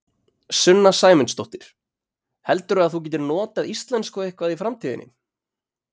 Sunna Sæmundsdóttir: Heldurðu að þú getir notað íslensku eitthvað í framtíðinni?